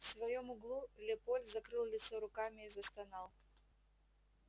в своём углу лепольд закрыл лицо руками и застонал